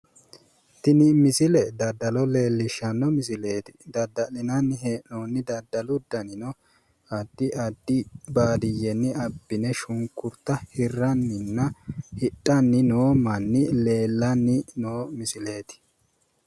Tinni misille daddalo leellishanno misileeti dadda'linnanni hee'nonni daddalu dannino addi addi baadiyenni abbine shunkurta hiranninna hidhanni noo manni leellanni noo misilleeti.